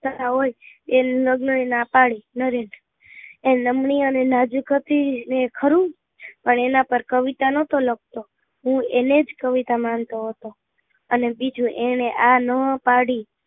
હોય એમ લગ્ન એ નાં પાડી નરેન એ લમની અને નાજુક હતી એ ખરું પણ એના પર કવિતા નહતો લખતો હું એને જ કવિતા માનતો હતો અને બીજું એને એ નાં પાડી